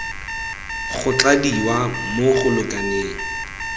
go tladiwa mo go lekaneng